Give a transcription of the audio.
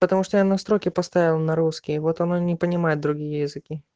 потому что я настройки поставил на русский вот оно не понимает другие языки